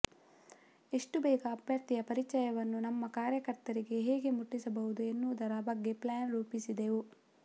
ಎಷ್ಟು ಬೇಗ ಅಭ್ಯರ್ಥಿಯ ಪರಿಚಯವನ್ನು ನಮ್ಮ ಕಾರ್ಯಕರ್ತರಿಗೆ ಹೇಗೆ ಮುಟ್ಟಿಸಬಹುದು ಎನ್ನುವುದರ ಬಗ್ಗೆ ಪ್ಲ್ಯಾನ್ ರೂಪಿಸಿದೆವು